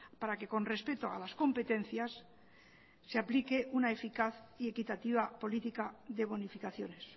para que con respeto a las competencias se aplique una eficaz y equitativa política de bonificaciones